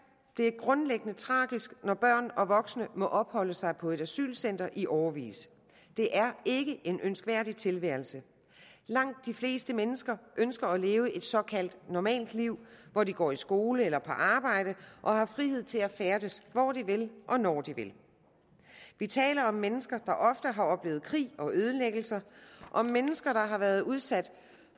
det grundlæggende er tragisk når børn og voksne må opholde sig på et asylcenter i årevis det er ikke en ønskværdig tilværelse langt de fleste mennesker ønsker at leve et såkaldt normalt liv hvor de går i skole eller på arbejde og har frihed til at færdes hvor de vil og når de vil vi taler om mennesker der ofte har oplevet krig og ødelæggelser og mennesker der har været udsat